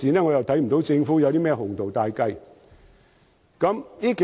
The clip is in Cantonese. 我又看不到政府有甚麼鴻圖大計。